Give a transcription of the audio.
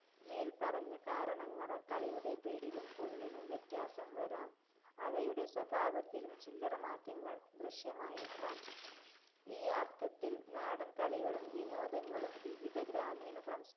മേല്പറഞ്ഞ കാരണങ്ങളാല്‍ കളിയുടെ പേരിലും, പൊരുളിലും വ്യത്യാസം വരാം. അവയുടെ സ്വഭാവത്തിലും ചില്ലറ മാറ്റങ്ങള്‍ ദൃശ്യമായേക്കാം. ഈ അര്‍ത്ഥത്തില്‍ നാടന്‍ കളികളും, വിനോദങ്ങളും വിവിധ ഗ്രാമീണ സംസ്~